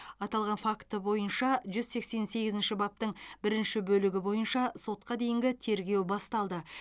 аталған факт бойынша жүз сексен сегізінші баптың бірінші бөлігі бойынша сотқа дейінгі тергеу басталды